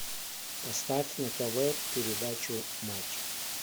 поставь на тв передачу матч